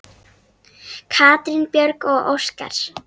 Katrín Björg og Óskar.